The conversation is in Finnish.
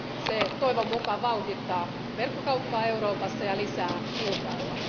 Se toivon mukaan vauhdittaa verkkokauppaa Euroopassa ja lisää kilpailua.